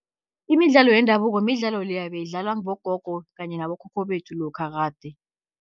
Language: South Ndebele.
Imidlalo yendabuko midlalo leya beyidlalwa bogogo kanye nabokhokho bethu, lokha kade.